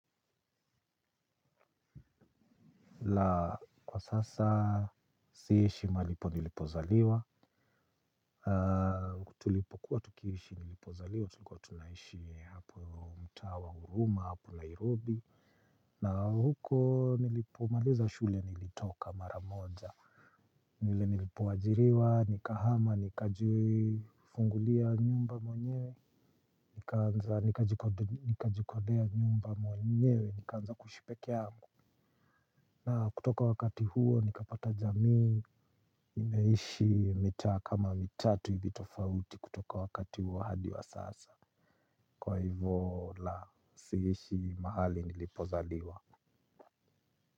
Kwa sasa, siishi mahali nilipozaliwa, tulipokuwa tukiishi nilipozaliwa, tulikuwa tunaishi hapo Mtaa wa Huruma, hapo Nairobi na huko nilipomaliza shule nilitoka maramoja, vile nilipoajiriwa, nikahama, nikajifungulia nyumba mwenyewe. Nikaanza nikajikodea nyumba mwenyewe, nikaanza kuishi peke yangu. Na kutoka wakati huo nikapata jamii. Nimeishi mitaa kama mitatu hivi tofauti kutoka wakati huo hadi wa sasa. Kwa hivyo la siishi mahali nilipozaliwa.